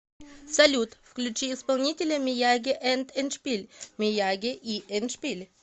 салют включи исполнителя мияги энд эндшпиль мияги и эндшпиль